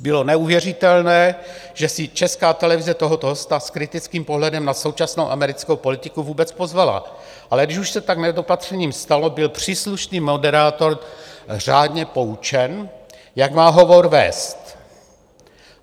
Bylo neuvěřitelné, že si Česká televize tohoto hosta s kritickým pohledem na současnou americkou politiku vůbec pozvala, ale když už se tak nedopatřením stalo, byl příslušný moderátor řádně poučen, jak má hovor vést.